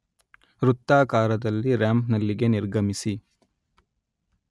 ವೃತ್ತಾಕಾರದಲ್ಲಿ, ರಾಂಪ್‌ನಲ್ಲಿಗೆ ನಿರ್ಗಮಿಸಿ